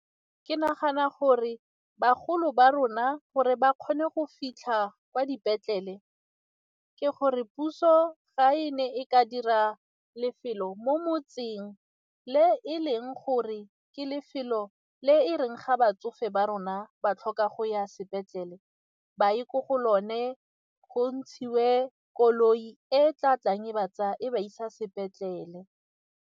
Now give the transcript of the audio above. Ke nagana gore bagolo ba rona gore ba kgone go fitlha kwa dipetlele ke gore puso ga e ne e ka dira lefelo mo motseng le e leng gore ke lefelo le e reng ga batsofe ba rona ba tlhoka go ya sepetlele ba ye ko go lone, go ntshiwe koloi e tla tlang e ba tsaya e ba isa sepetlele.